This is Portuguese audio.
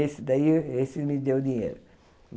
Esse daí esse me deu dinheiro.